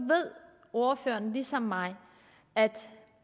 ved ordføreren ligesom mig at